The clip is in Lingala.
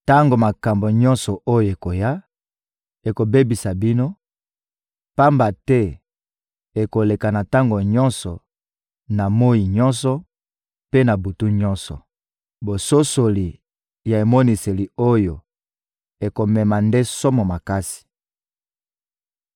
Tango makambo nyonso oyo ekoya, ekobebisa bino; pamba te ekoleka na tongo nyonso, na moyi nyonso mpe na butu nyonso.» Bososoli ya emoniseli oyo ekomema nde somo makasi.